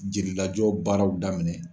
Jeli lajɔ baaraw daminɛ.